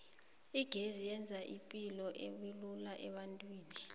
igezi yenza ipilo ubelula ebantwini